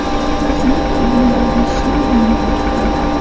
Qizning egnidagi shim yonib ketgan.